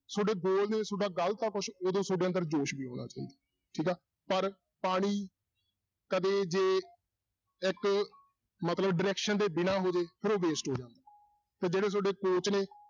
ਤੁਹਾਡੇ goal ਨੇ ਤੁਹਾਡਾ ਗ਼ਲਤ ਆ ਕੁਛ, ਉਦੋਂ ਤੁਹਾਡੇ ਅੰਦਰ ਜੋਸ਼ ਵੀ ਹੋਣਾ ਚਾਹੀਦਾ ਠੀਕ ਆ, ਪਰ ਪਾਣੀ ਕਦੇ ਜੇ ਇੱਕ ਮਤਲਬ direction ਦੇ ਬਿਨਾਂ ਹੋਵੇ, ਫਿਰ ਉਹ waste ਹੋ ਜਾਂਦਾ ਤੇ ਜਿਹੜੇ ਤੁਹਾਡੇ coach ਨੇ